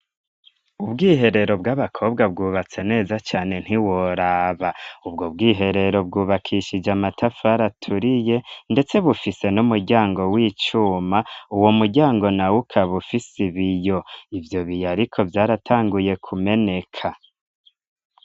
Ubwiherero bw'abakobwa bwubatse neza cane ntiworaba, ubwo bwiherero bwubakishije amatafari aturiye ndetse bufise n'umuryango w'icuma, uwo muryango nawo ukaba ufise ibiyo, ivyo biyo ariko vyaratanguye kumeneka.